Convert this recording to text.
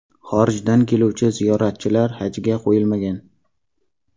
Xorijdan keluvchi ziyoratchilar hajga qo‘yilmagan.